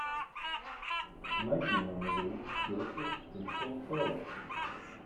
найди нам игру челси с кристал пэлас